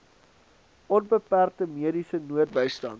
onbeperkte mediese noodbystand